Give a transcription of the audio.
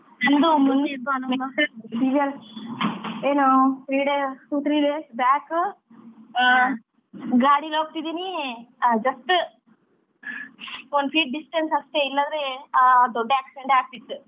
ಏನ್ three day two three days back uh ಗಾಡೀಲಿ ಹೋಗ್ತಿದೀನಿ just one feet distance ಅಷ್ಟೇ ಇಲ್ಲದಿದ್ರೆ ಅಹ್ ದೊಡ್ಡ accident ಆಗ್ತಿತು?